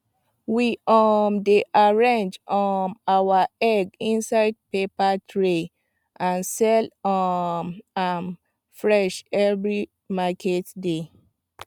we um dey arrange um our egg inside paper tray and sell um am fresh every market day